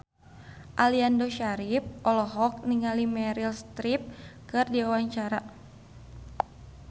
Aliando Syarif olohok ningali Meryl Streep keur diwawancara